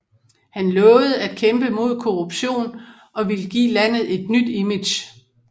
Han lovede at kæmpe mod korruption og ville give landet et nyt image